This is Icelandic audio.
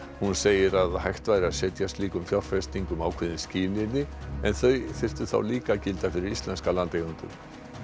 hún segir að hægt væri að setja slíkum fjárfestingum ákveðin skilyrði en þau þyrftu þá líka að gilda fyrir íslenska landeigendur